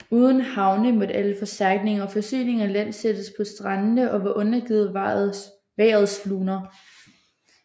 Uden havne måtte alle forstærkninger og forsyninger landsættes på strandene og var undergivet vejrets luner